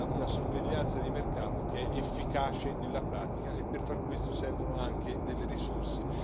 una sorveglianza di mercato, che è efficace nella pratica e, per far questo, servono anche delle risorse.